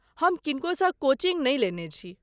हम किनको सँ कोचिंग नहि लेने छी।